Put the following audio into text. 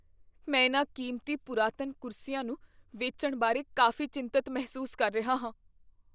ਮੈਂ ਇਨ੍ਹਾਂ ਕੀਮਤੀ ਪੁਰਾਤਨ ਕੁਰਸੀਆਂ ਨੂੰ ਵੇਚਣ ਬਾਰੇ ਕਾਫ਼ੀ ਚਿੰਤਤ ਮਹਿਸੂਸ ਕਰ ਰਿਹਾ ਹਾਂ।